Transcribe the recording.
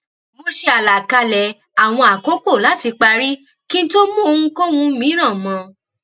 mo ṣe àlàkalẹ àwọn àkókò láti parí kí n tó mú ohunkóhun mìíràn mọ ọn